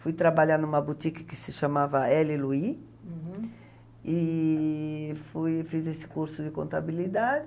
Fui trabalhar em uma boutique que se chamava L.Louis e fui fiz esse curso de contabilidade.